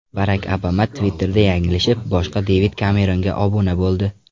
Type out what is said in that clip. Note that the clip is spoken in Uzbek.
Barak Obama Twitter’da yanglishib, boshqa Devid Kemeronga obuna bo‘ldi.